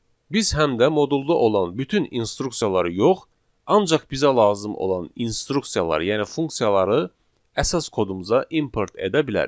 Biz həm də modulda olan bütün instruksiyaları yox, ancaq bizə lazım olan instruksiyaları, yəni funksiyaları əsas kodumuza import edə bilərik.